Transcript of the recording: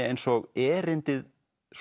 eins og erindið